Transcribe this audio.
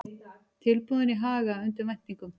Tilboðin í Haga undir væntingum